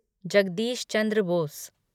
Jagdish Chandra Bose